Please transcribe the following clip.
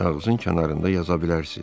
Kağızın kənarında yaza bilərsiz.